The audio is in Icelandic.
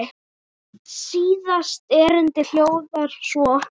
Síðasta erindið hljóðar svo